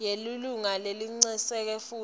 yelilunga lecinisekisa kutsi